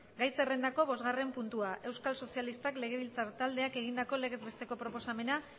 gai zerrendako bostgarren puntua euskal sozialistak legebiltzar taldeak egindako legez besteko proposamena